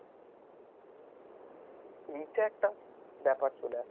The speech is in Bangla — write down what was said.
এইটা একটা ব্যাপার চলে আসছে